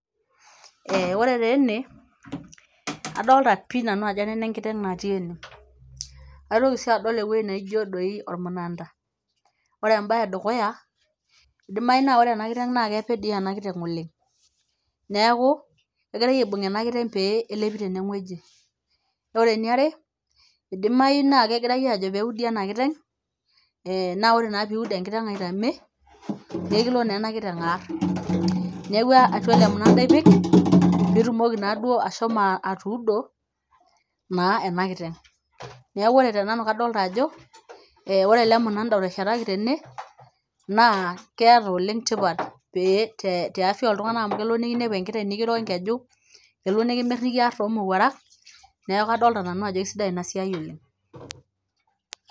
eh ore taa ene, adolta pii nanu ajo nena enkiteng' natii ene aitoki sii adol ewueji naijo doi ormunanda ore embaye edukuya idimai naa ore ena kiteng' naa kepe dii ena kiteng' oleng' neeku kegirae aibung' ena kiteng' pee elepi teneng'ueji ore eniare idimai naa kegirae ajo peudi ena kiteng' eh naa ore naa piud enkiteng' aitame naa ekilo naa ena kiteng' arr neeku atua ele munanda ipik pitumoki naduo ashomo atuudo naa ena kiteng' neeku ore te nanu kadolta ajo ore ele munanda oteshetaki tene naa keeta oleng' tipat pee te tiafia oltung'anak amu kelo nikinepu enkiteng' nikiro enkeju elo nikimirr nikiarr tomowuarak neeku kadolta nanu ajo kisidai ina siai oleng'.